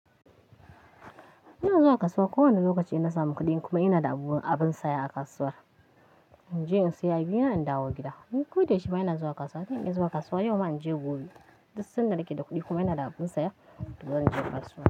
Ina zuwa kasuwa kowane lokaci in na samu kuɗi kuma ina da abun a bin saya a kasuwar. In je in saya abina in dawo gida. Ko da yaushe bana zuwa kasuwa, zan iya zuwa kasuwa yau ma in je gobe. Duk sanda nake da kuɗi kuma ina da abin saya to zan je kasuwa.